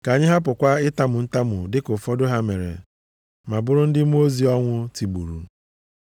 Ka anyị hapụkwa itamu ntamu dịka ụfọdụ ha mere ma bụrụ ndị Mmụọ ozi ọnwụ tigburu.